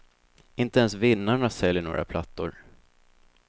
Inte ens vinnarna säljer några plattor.